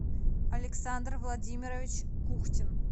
александр владимирович кухтин